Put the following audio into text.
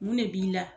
Mun ne b'i la